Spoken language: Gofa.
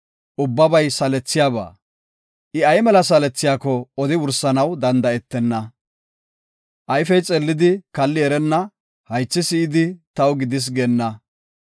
Ubbabay salethiyaba; I ay mela salethiyako odi wursanaw danda7etenna. Ayfey xeellidi kalli erenna; haythi si7idi, taw gidis geenna.